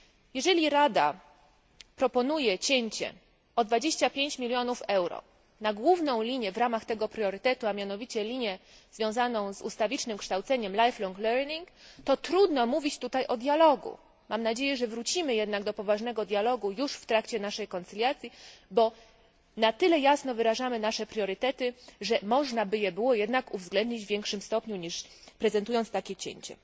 Jeżeli Rada proponuje cięcie o 25 milionów euro głównej linii w ramach tego priorytetu, a mianowicie linii związanej z ustawicznym kształceniem lifelong learning, to trudno mówić tutaj o dialogu. Mam nadzieję, że wrócimy jednak do poważnego dialogu już w trakcie procedury zgody, bo na tyle jasno wyrażamy nasze priorytety, żeby można było uwzględnić je w większym stopniu niż proponując takie cięcie.